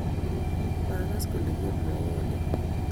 Magaas kole kemwowonee